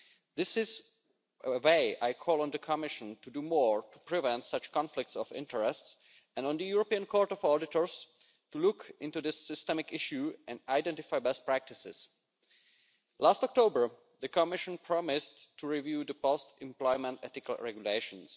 This is why I call on the Commission to do more to prevent such conflicts of interests and on the European Court of Auditors to look into this systemic issue and identify best practices. Last October, the Commission promised to review the post employment ethical regulations.